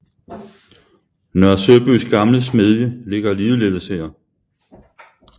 Nørre Søbys gamle smedie ligger ligeledes her